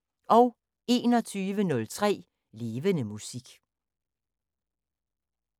21:03: Levende Musik